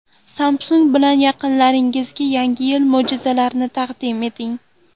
Samsung bilan yaqinlaringizga Yangi yil mo‘jizalarini taqdim eting.